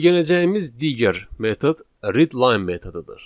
Öyrənəcəyimiz digər metod readline metodudur.